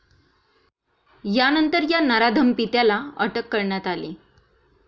यानंतर या नराधम पित्याला अटक करण्यात आली.